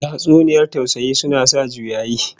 Tatsuniyar tausayi suna sa juyayi